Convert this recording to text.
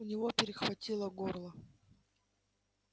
у него перехватило горло